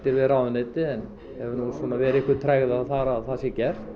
við ráðuneytið en það er einhver tregða um að það sé gert